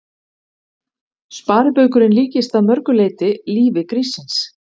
Sparibaukurinn líkist að mörg leyti lífi gríssins.